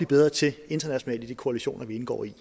bedre til internationalt i de koalitioner vi indgår i